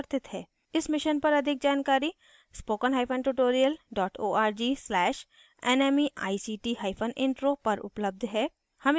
इस मिशन पर अधिक जानकारी